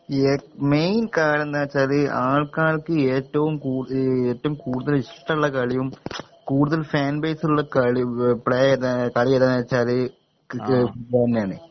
ഏ മെയിൻ കാരണെന്തോയ്ച്ചാല് ആൾക്കാർക്ക് ഏറ്റവും കൂ ഏറ്റവും കൂടുതല് ഇഷ്ട്ടള്ള കളിയും കൂടുതൽ ഫാൻ ബൈസുള്ള കളി പ്ലേ ഏതാ കളി ഏതാന്ന് വെച്ചാല് ക്രി ഇത് തന്നെയാണ്